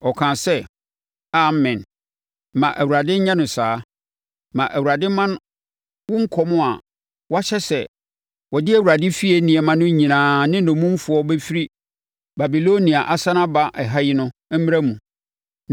Ɔkaa sɛ, “Amen! Ma Awurade nyɛ no saa! Ma Awurade mma wo nkɔm a woahyɛ sɛ wɔde Awurade efie nneɛma no nyinaa ne nnommumfoɔ bɛfiri Babilonia asane aba ɛha yi no mmra mu.